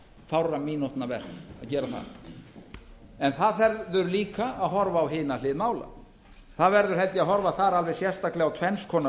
fárra mínútna verk að gera það en það verður líka að horfa á hina hlið mála það verður held ég að horfa þar alveg sérstaklega á tvenns konar